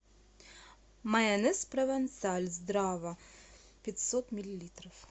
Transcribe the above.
майонез провансаль здрава пятьсот миллилитров